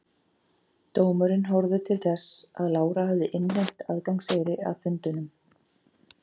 Dómurinn horfði til þess að Lára hafði innheimt aðgangseyri að fundunum.